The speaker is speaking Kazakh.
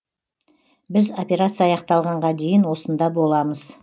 біз операция аяқталғанға дейін осында боламыз